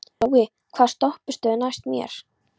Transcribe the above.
Glói, hvaða stoppistöð er næst mér?